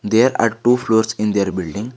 There are two floors in their building.